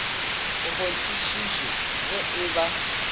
a kgonthišiše ge e ba